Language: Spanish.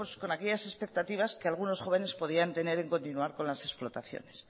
con aquellas expectativas que algunos jóvenes podían tener en continuar con las explotaciones